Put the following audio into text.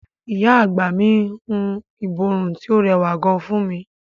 Ìyá àgbà mi hun ìborùn tí ó rẹwà gan fún mi.